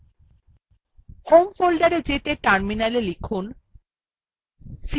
home folderএ যেতে terminalএ লিখুন